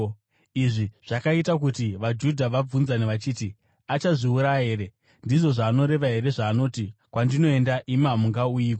Izvi zvakaita kuti vaJudha vabvunzane vachiti, “Achazviuraya here? Ndizvo zvaanoreva here zvaanoti, ‘Kwandinoenda, imi hamungauyiko?’ ”